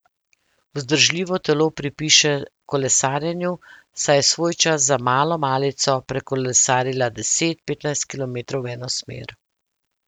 Vzdržljivo telo pripiše kolesarjenju, saj je svojčas za malo malico prekolesarila deset, petnajst kilometrov v eno smer.